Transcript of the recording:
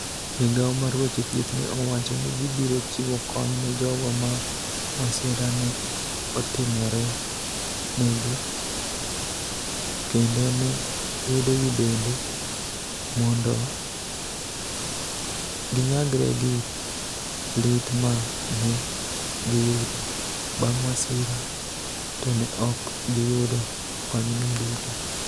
Migawo mar weche thieth ni e owacho nii gibiro chiwo koniy ni e jogo ma masira ni e otimore ni egi, kenido ni e wedegi benide, monido giniyagre gi lit ma ni e giyudo banig ' masira, to ni e ok giyudo koniyno duto.